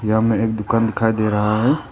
यहां में एक दुकान दिखाई दे रहा है।